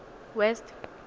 west